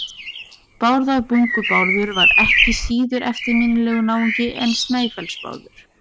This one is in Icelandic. Bárðarbungu-Bárður var ekki síður eftirminnilegur náungi en Snæfellsnes-Bárður.